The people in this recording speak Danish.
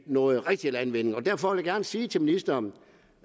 noget rigtig landvinding derfor vil jeg gerne sige til ministeren